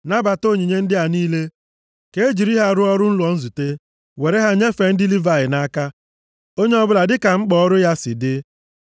“Nabata onyinye ndị a niile, ka e jiri ha rụọ ọrụ ụlọ nzute, were ha nyefee ndị Livayị nʼaka, onye ọbụla dịka mkpa ọrụ ya si dị.”